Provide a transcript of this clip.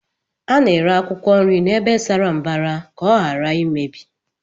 A na-ere akwụkwọ nri n'ebe sara mbara ka ọ ghara imebi